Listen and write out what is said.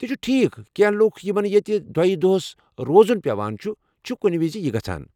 تہِ چُھ ٹھیكھ ، کینٛہہ لوکھ یمن ییتہِ دٔہۍ دوٚہس روزُن پیوان چھُ ، چھِ كُنہِ وِزِ یی گژھان ۔